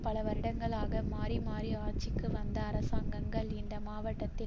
பல வருடங்களாக மாறி மாறி ஆட்சிக்கு வந்த அரசாங்கங்கள் இந்த மாவட்டத்தில்